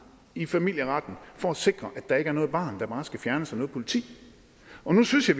i familieretten for at sikre at der ikke er noget barn der bare skal fjernes af politiet og nu synes jeg